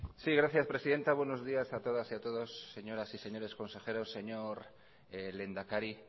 sí gracias presidenta buenos días a todas y a todos señoras y señores consejeros señor lehendakari